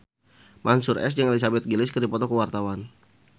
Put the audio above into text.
Mansyur S jeung Elizabeth Gillies keur dipoto ku wartawan